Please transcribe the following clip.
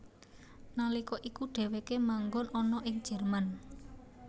Nalika iku dheweke manggon ana ing Jerman